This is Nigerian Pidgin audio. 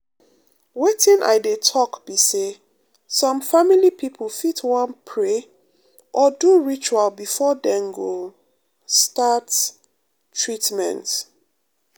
wetin i dey talk be say some family people fit wan pray or do ritual before dem go um start um treatment. um